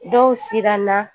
Dɔw siranna